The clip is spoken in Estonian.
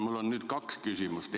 Mul on nüüd kaks küsimust.